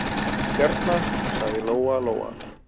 Hérna, sagði Lóa-Lóa.